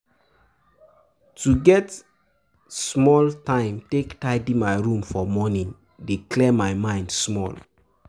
To get small time take tidy my room for morning dey clear my mind small.